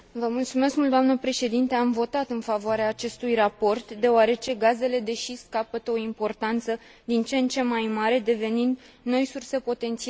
Am votat în favoarea acestui raport, deoarece gazele de șist capătă o importanță din ce în ce mai mare, devenind noi surse potențiale de aprovizionare.